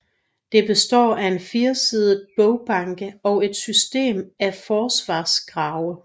Det består af en firesidet borgbanke og et system af forsvarsgrave